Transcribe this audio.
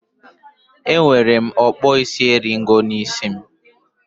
Enwere m okpuisieriego n'isi m